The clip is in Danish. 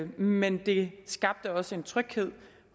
men det skabte også en tryghed